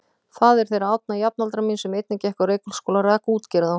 Faðir þeirra Árna, jafnaldra míns sem einnig gekk á Reykholtsskóla, rak útgerð á